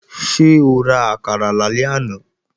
Ṣé o ra àkàrà lálẹ́ àná?